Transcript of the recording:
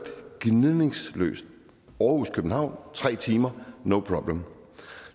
gnidningsløst aarhus københavn tre timer no problem